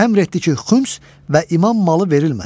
Əmr etdi ki, xums və imam malı verilməsin.